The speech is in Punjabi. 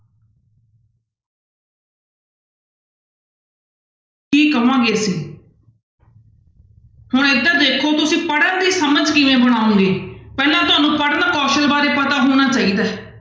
ਕੀ ਕਹਾਂਗੇ ਅਸੀਂ ਹੁਣ ਇੱਧਰ ਦੇਖੋ ਤੁਸੀਂ ਪੜ੍ਹਨ ਦੀ ਸਮਝ ਕਿਵੇਂ ਬਣਾਓਗੇ, ਪਹਿਲਾਂ ਤੁਹਾਨੂੰ ਪੜ੍ਹਨ ਕੌਸਲ ਬਾਰੇ ਪਤਾ ਹੋਣਾ ਚਾਹੀਦਾ ਹੈ।